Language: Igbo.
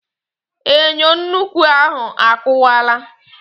Enyo nnukwu ahụ a kụwaala